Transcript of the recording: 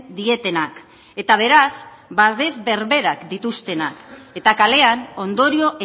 dietenak eta beraz babes berberak dituztenak eta kalean ondorio